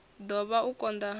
ḓo vhanga u konḓa ha